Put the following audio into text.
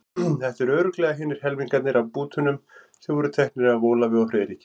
Þetta eru örugglega hinir helmingarnir af bútunum sem voru teknir af Ólafi og Friðriki.